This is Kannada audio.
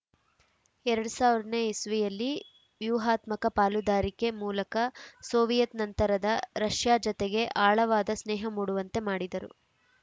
ಎರಡ್ ಸಾವಿರ ನೇ ಇಸ್ವಿಯಲ್ಲಿ ವ್ಯೂಹಾತ್ಮಕ ಪಾಲುದಾರಿಕೆ ಮೂಲಕ ಸೋವಿಯತ್‌ ನಂತರದ ರಷ್ಯಾ ಜತೆಗೆ ಆಳವಾದ ಸ್ನೇಹ ಮೂಡುವಂತೆ ಮಾಡಿದರು